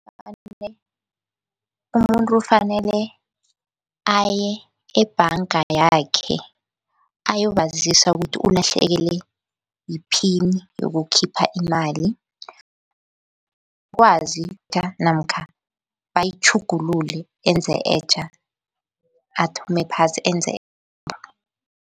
Umuntu fanele aye ebhanga yakhe ayobazisa ukuthi, ulahlekelwe yiphini yokukhipha imali. Ukwazi namkha bayitjhugulule enze etjha, athome phasi enze